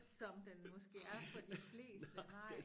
Som den måske er for de fleste nej